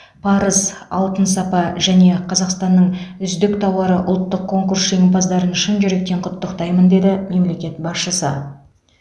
парыз алын сапа және қазақстанның үздік тауары ұлттық конкурс жеңімпаздарын шын жүректен құттықтайтамын деді мемлекет басшысы